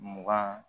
Mugan